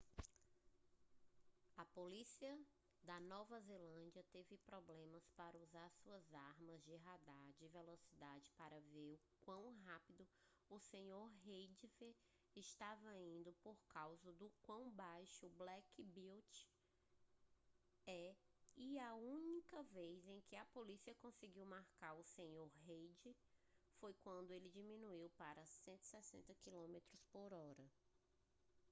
a polícia da nova zelândia teve problemas para usar suas armas de radar de velocidade para ver o quão rápido o sr. reid estava indo por causa do quão baixo o black beauty é e a única vez que a polícia conseguiu marcar o sr. reid foi quando ele diminuiu para 160km/h